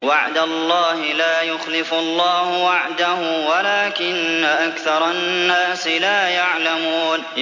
وَعْدَ اللَّهِ ۖ لَا يُخْلِفُ اللَّهُ وَعْدَهُ وَلَٰكِنَّ أَكْثَرَ النَّاسِ لَا يَعْلَمُونَ